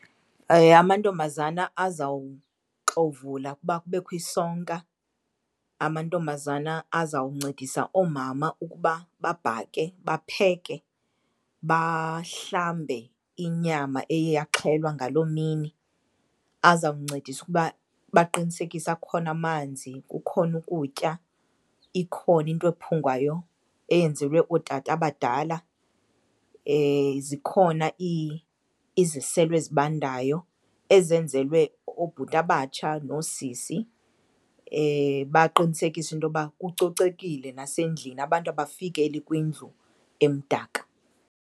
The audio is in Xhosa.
Amantombazana azawuxovula ukuba kubekho isonka. Amantombazana azawuncedisa oomama ukuba babhake, bapheke, bahlambe inyama eye yaxhelwa ngaloo mini. Azawuncedisa ukuba baqinisekise akhona amanzi, kukhona ukutya, ikhona into ephungwayo eyenzelwe ootata abadala, zikhona iziselo ezibandayo ezenzelwe oobhuti abatsha noosisi. Baqinisekise intoba kucocekile nasendlini, abantu abafikeli kwindlu emdaka.